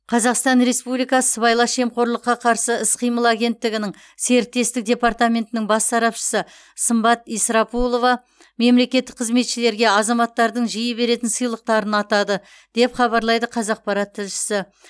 қазақстан республикасы сыбайлас жемқорлыққа қарсы іс қимыл агенттігінің серіктестік департаментінің бас сарапшысы сымбат исрапулова мемлекеттік қызметшілерге азаматтардың жиі беретін сыйлықтарын атады деп хабарлайды қазақпарат тілшісі